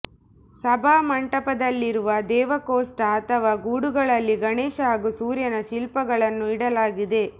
ಸಭಾಮಂಟಪದಲ್ಲಿರುವ ದೇವಕೋಷ್ಠ ಅಥವಾ ಗೂಡುಗಳಲ್ಲಿ ಗಣೇಶ ಹಾಗೂ ಸೂರ್ಯನ ಶಿಲ್ಪಗಳನ್ನು ಇಡಲಾಗಿದೆ